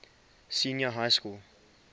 senior high school